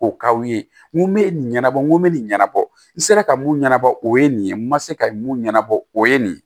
O k'aw ye n ko me nin ɲɛnabɔ n ko n be nin ɲɛnabɔ n sera ka mun ɲɛnabɔ o ye nin ye n ma se ka mun ɲɛnabɔ o ye nin ye